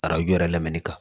Arajo yɛrɛ lamɛnni kan